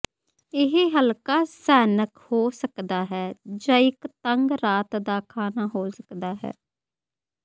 ਇਹ ਹਲਕਾ ਸਨੈਕ ਹੋ ਸਕਦਾ ਹੈ ਜਾਂ ਇੱਕ ਤੰਗ ਰਾਤ ਦਾ ਖਾਣਾ ਹੋ ਸਕਦਾ ਹੈ